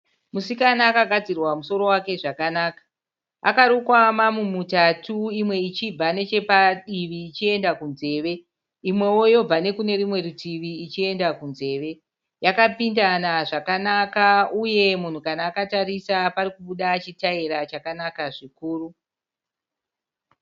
Musikana akagadzirwa mumusoro wake zvakanaka. Akarukwa mamumutatu imwe ichibva nechapadivi ichienda kunzeve. Imwewo yobva nekunerumwe rutivi ichienda kunzeve. Yakapindana zvakanaka uye munhu kana akatarisa parikubuda chitaira chakanaka zvikuru.